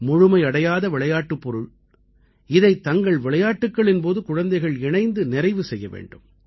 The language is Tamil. முழுமையடையாத விளையாட்டுப் பொருள் இதைத் தங்கள் விளையாட்டுக்களின் போது குழந்தைகள் இணைந்து நிறைவு செய்ய வேண்டும்